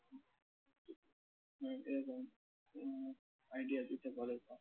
idea idea দিতে পারে